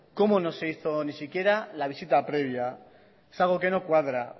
cómo no se hizo ni siquiera la visita previa es algo que no cuadra